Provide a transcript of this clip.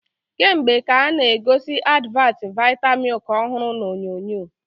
Kemgbe ka a-na egosi advat vita milk ọhụrụ na onyonyo